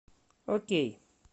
окей